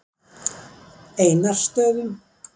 Einarsstöðum